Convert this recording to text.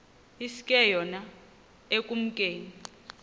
iske yona ekumkeni